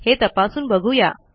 हे तपासून बघूया